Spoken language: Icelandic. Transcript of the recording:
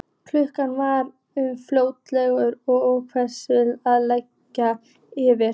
Klukkan var um fjögur og vetrarmyrkrið að leggjast yfir.